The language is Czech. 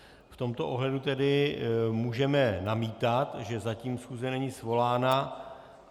V tomto ohledu tedy můžeme namítat, že zatím schůze není svolána.